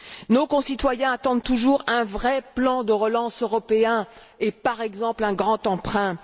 Nos concitoyens attendent toujours un vrai plan de relance européen et, par exemple, un grand emprunt.